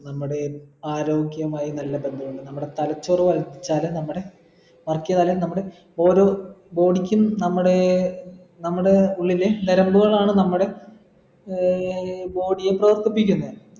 നമ്മുടെ ആരോഗ്യമായി നല്ല ബന്ധുണ്ട് നമ്മുടെ തലച്ചോർ വളച്ചാലേ നമ്മടെ work ചെയ്താലേ നമ്മടെ ഓരോ body ക്കും നമ്മടെ നമ്മടെ ഉള്ളിലെ നരമ്പുകളാണ് നമ്മടെ ആഹ് body യെ പ്രവർത്തിപ്പിക്കുന്നെ